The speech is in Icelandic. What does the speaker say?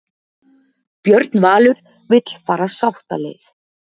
Björn Valur vill fara sáttaleið